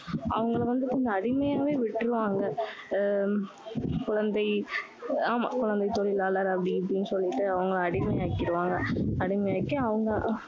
அவங்களை வந்து அடிமையாவே விட்டுருவாங்க. அஹ் குழந்தை ஆமா. குழந்தை தொழிலாளர் அப்படி இப்படின்னு சொல்லிட்டு அவங்க அடிமை ஆக்கிருவாங்க. அடிமை ஆக்கி, அவங்க